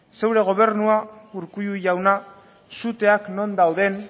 zure gobernua urkullu jauna suteak non dauden